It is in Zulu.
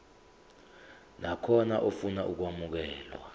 nakhona ofuna ukwamukelwa